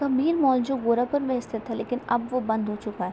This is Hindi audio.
द मेन मॉल जो गोरखपुर में स्थित है लेकिन अब वो बंद हो चुका है।